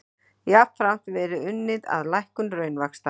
Jafnframt verði unnið að lækkun raunvaxta